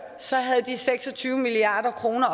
havde de seks og tyve milliard kroner